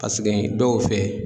Paseke dɔw fɛ.